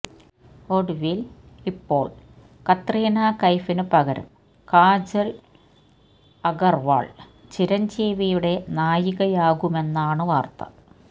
ഒടുവില് ഇപ്പോള് കത്രീന കൈഫിന് പകരം കാജല് അഗര്വാള് ചിരഞ്ജീവിയുടെ നായികയാകുമെന്നാണ് വാര്ത്ത